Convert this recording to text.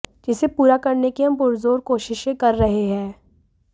जिसे पूरा करने की हम पुरज़ोर कोशिशें कर रहे हैं